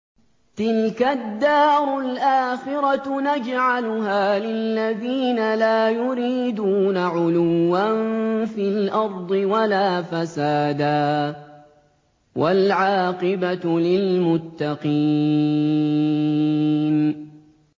تِلْكَ الدَّارُ الْآخِرَةُ نَجْعَلُهَا لِلَّذِينَ لَا يُرِيدُونَ عُلُوًّا فِي الْأَرْضِ وَلَا فَسَادًا ۚ وَالْعَاقِبَةُ لِلْمُتَّقِينَ